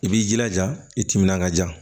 I b'i jilaja i timinanja